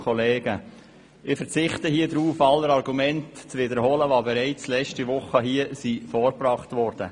Ich verzichte darauf, alle Argumente zu wiederholen, die hier im Rat bereits letzte Woche vorgebracht wurden.